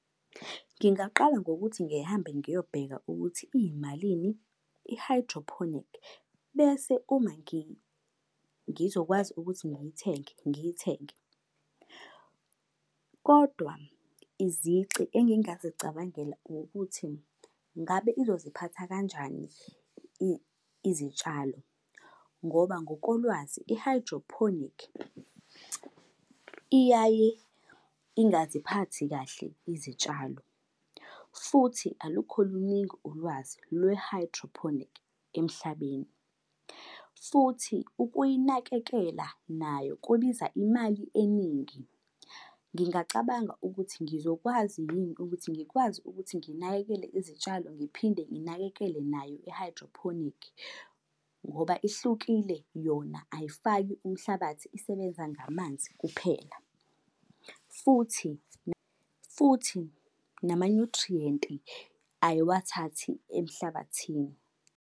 Ngingaqala ngokuthi ngihambe ngiyobheka ukuthi iyimalini i-hydroponic, bese uma ngizokwazi ukuthi ngithenge ngiyithenge. Kodwa izici engingazicabangela ukuthi ngabe izoziphatha kanjani izitshalo. Ngoba ngokolwazi i-hydroponic iyaye ingaziphathi kahle izitshalo. Futhi alukho luningi ulwazi lwe-hydroponic emhlabeni. Futhi ukuyinakekela nayo kubiza imali eningi. Ngingacabanga ukuthi ngizokwazi yini ukuthi ngikwazi ukuthi nginakekele izitshalo ngiphinde nginakekele nayo i-hydroponic. Ngoba ihlukile yona ayifaki umhlabathi isebenza ngamanzi kuphela. Futhi futhi nama-nutrient-i ayiwathathi emhlabathini.